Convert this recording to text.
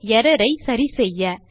error ஐ சரி செய்ய